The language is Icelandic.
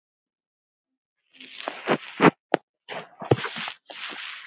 Hann er orðinn ekkill.